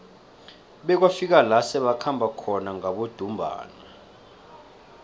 bekwafika la sebakhamba khona ngabodumbana